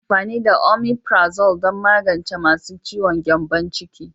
Ana amfani da Omeprazole don magance masu ciwon gyambon ciki.